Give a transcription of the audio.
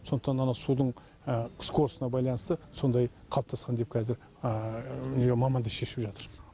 сондықтан ана судың скоростына байланысты сондай қалыптасқан деп кәзір мамандар шешіп жатыр